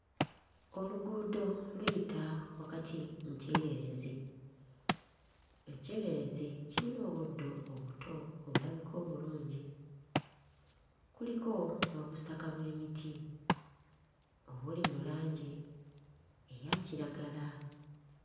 Oluguudo luyita wakati mu kyererezi. Ekyererezi kiyina obuddo obuto obulabika obulungi, kuliko n'obusaka bw'emiti obuli mu langi eya kiragala.